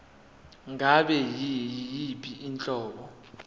ngabe yiyiphi inhlobo